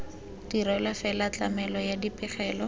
dirilwe fela tlamelo ya dipegelo